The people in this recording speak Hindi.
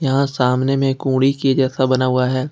सामने में ओड़ी के जैसा बना हुआ है।